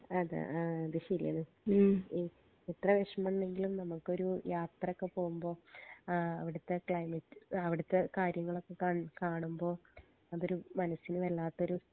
അതെ ആ അത് ശരിയാണ് ഉം എത്ര വേഷമണ്ടെങ്കിലും നമ്മുക്കൊരു യാത്രക്കെ പോവുമ്പോ ആഹ് അവിടുത്തെ ക്ലൈമറ്റ് ആ അവിടുത്തെ കാര്യങ്ങളൊക്കെ കാണ് കാണുമ്പോ അതൊരു മനസിന് വല്ലാത്തൊരു